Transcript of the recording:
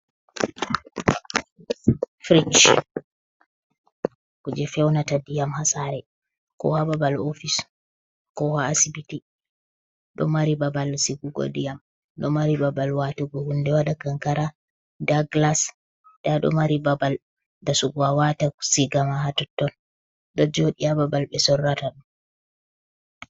Frij kuje feunata ndiyam ha sare, ko ha babal ofis, ko ha asibiti, ɗo mari babal sigugo ndiyam ɗo mari babal watugo hunde waɗa kankara nda glas nda ɗo mari babal dasugo awata siga ma ha totton ɗo joɗi ha babal ɓe sorrata ɗum.